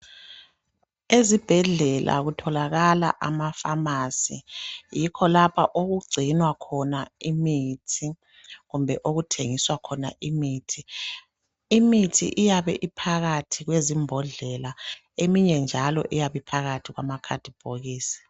Ezibhedlela kutholakale amapharmacy yikho lapho okugcinwa khona imithi kumbe okuthengiswa khona imithi. Imithi iyabe uphakathi kwezimbodlela eminye njalo iyabe isema bhokisini